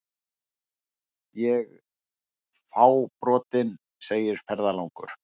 Ég fábrotinn, segir ferðalangur.